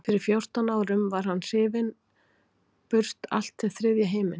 Fyrir fjórtán árum var hann hrifinn burt allt til þriðja himins.